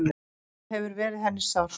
Það hefur verið henni sárt.